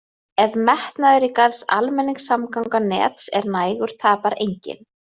Ef metnaður í gerð almenningssamgangnanets er nægur tapar enginn.